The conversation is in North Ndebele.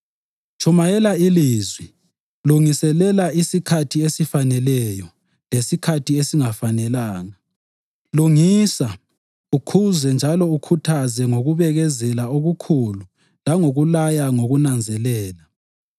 Tshumayela iLizwi; lungiselela isikhathi esifaneleyo lesikhathi esingafanelanga; lungisa, ukhuze njalo ukhuthaze ngokubekezelela okukhulu langokulaya ngokunanzelela.